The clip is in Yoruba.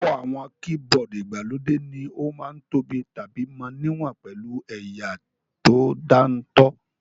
Púpọ̀ àwọn keyboard ìgbàlódé ní ó ma ń tóbi tàbí mọ níwọ̀n pẹ̀lú ẹ̀yà tó dáńtọ́